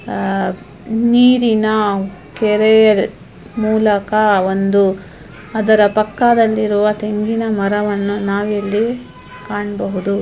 ಆ ನೀರಿನ ಕೆರೆ ಮುಲಕ ಒಂದು ಅದರ ಪಕ್ಕದಲ್ಲಿ ಇರುವ ತೆಂಗಿನ ಮರವನ್ನು ನಾವಿಲ್ಲಿ ಕಾಣಬಹುದು